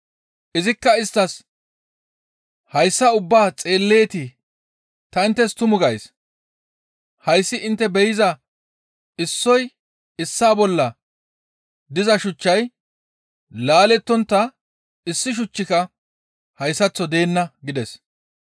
Izikka isttas, «Hayssa ubbaa xeelleetii? Ta inttes tumu gays; hayssi intte be7iza issoy issaa bolla diza shuchchay laalettontta issi shuchchika hayssaththo deenna» gides.